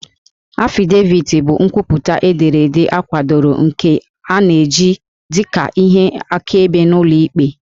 Affidavit bụ nkwupụta ederede akwadoro nke a na-eji dị ka ihe akaebe n'ụlọ ikpe